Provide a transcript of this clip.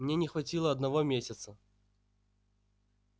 мне не хватило одного месяца